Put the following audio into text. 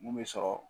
Mun bɛ sɔrɔ